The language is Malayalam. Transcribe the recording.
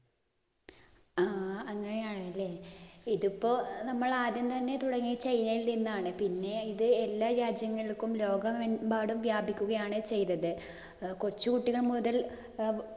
ആ അങ്ങനെയാണല്ലേ. ഇതിപ്പോ നമ്മൾ ആദ്യം തന്നെ തുടങ്ങിയത് ചൈനയിൽ നിന്നാണ്. പിന്നെ ഇത് എല്ലാ രാജ്യങ്ങൾക്കും ലോകമെമ്പാടും വ്യാപിക്കുകയാണ് ചെയ്തത്. കൊച്ചുകുട്ടികൾ മുതൽ